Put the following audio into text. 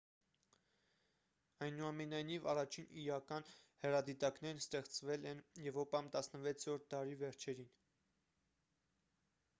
այնուամենայնիվ առաջին իրական հեռադիտակներն ստեղծվել են եվրոպայում 16-րդ դարի վերջերին